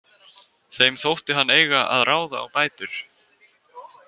Þeim þótti hann eiga að ráða á bætur.